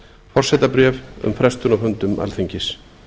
forsetabréf um frestun á fundum alþingis